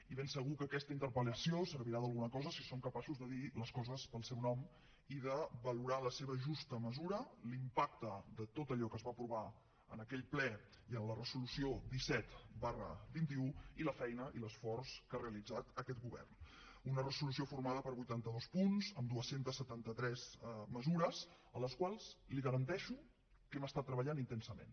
i ben segur que aquesta interpel·lació servirà d’alguna cosa si som capaços de dir les coses pel seu nom i de valorar en la seva justa mesura l’impacte de tot allò que es va aprovar en aquell ple i en la resolució disset xi i la feina i l’esforç que ha realitzat aquest govern una resolució formada per vuitanta dos punts amb dos cents i setanta tres mesures en les quals li garanteixo que hem treballat intensament